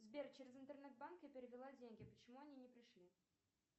сбер через интернет банк я перевела деньги почему они не пришли